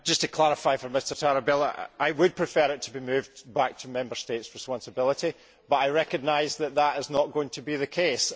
Just to clarify for Mr Tarabella, I would prefer it to be moved back to Member States' responsibility, but I recognise that this is not going to be the case.